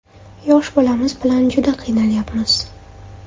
Yosh bolamiz bilan juda qiynalyapmiz.